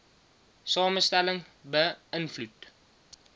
samestelling be ïnvloed